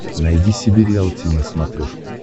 найди себе риалти на смотрешке